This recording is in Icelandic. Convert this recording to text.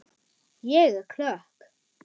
Ég er klökk.